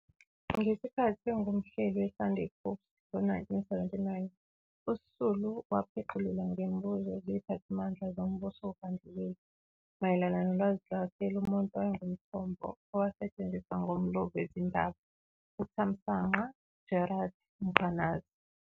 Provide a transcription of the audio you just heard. Ngesikhathi engumhleli "weSunday Post" ngo-1979, uSisulu wapheqululwa ngemibuzo ziphathimandla zombuzo wobandlululo mayelana nolwazi lwakhe lomuntu owayenguthombo owasetshenziswa ngumlobi wezindaba uThamsanqa Gerald Mkhwanazi.